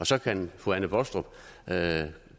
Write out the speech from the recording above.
så kan fru anne baastrup